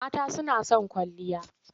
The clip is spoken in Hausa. Mata suna son kwalliya.